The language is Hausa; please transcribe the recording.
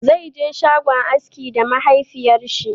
Zaije shagon askin da mahafiyar shi